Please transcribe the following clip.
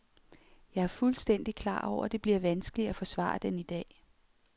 Jeg er fuldstændig klar over, det bliver vanskeligt at forsvare den i dag.